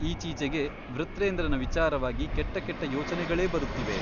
ಈಚೀಚೆಗೆ ವೃತ್ರೇಂದ್ರನ ವಿಚಾರವಾಗಿ ಕೆಟ್ಟಕೆಟ್ಟ ಯೋಚನೆಗಳೇ ಬರುತ್ತಿವೆ ?